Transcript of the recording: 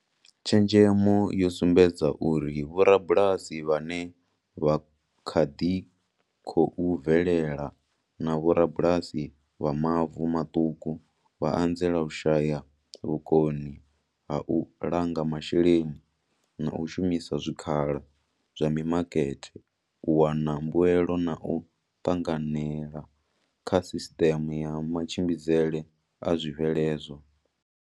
Tshenzhemo yo sumbedza uri vhorabulasi vhane vha kha ḓi khou bvelela na vhorabulasi vha mavu maṱuku vha anzela u shaya vhukoni ha u langa masheleni na u shumisa zwikhala zwa mimakete u wana mbuelo na u ṱanganela kha sisiṱeme ya matshimbidzele a zwibveledzwa.